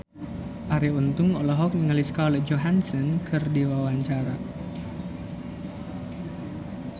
Arie Untung olohok ningali Scarlett Johansson keur diwawancara